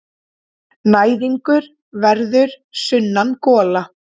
Næðingur verður sunnangola.